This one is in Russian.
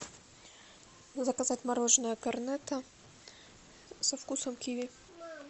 заказать мороженое корнетто со вкусом киви